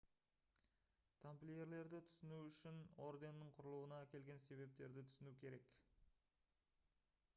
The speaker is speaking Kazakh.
тамплиерлерді түсіну үшін орденнің құрылуына әкелген себептерді түсіну керек